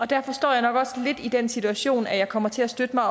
derfor står jeg nok også lidt i den situation at jeg kommer til at støtte mig